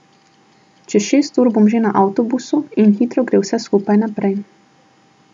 Čez šest ur bom že na avtobusu in hitro gre vse skupaj naprej.